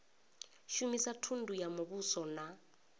shumisa thundu ya muvhuso na